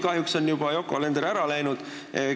Kahjuks on Yoko Alender juba ära läinud.